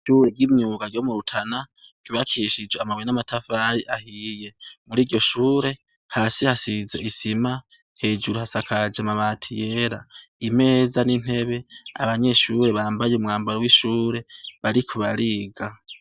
Ishure ryimyuga ryo mu Rutana ryubakishijwe amabuye n'amatafari ahiye, muriryo shure hasi hasize isima hejuru hasakaje amabati yera, imeza intebe abanyeshure bambaye umwambaro w'ishure bariko bariga.